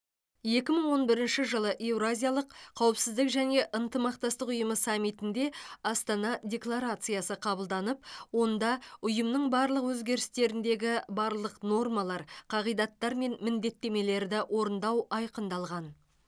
екі мың он бірінші жылы еуразиялық қауіпсіздік және ынтымақтастық ұйымы саммитінде астана декларациясы қабылданып онда ұйымының барлық өзгерістеріндегі барлық нормалар қағидаттар мен міндеттемелерді орындау айқындалған